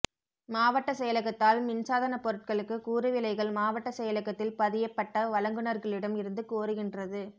மாவட்டச்செயலகத்தால் மின்சாதனப் பொருட்களுக்கு கூறுவிலைகள் மாவட்டச் செயலகத்தில் பதியப்பட்ட வழங்குனர்களிடம் இருந்து கோருகின்றது